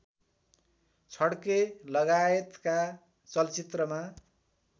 छड्के लगायतका चलचित्रमा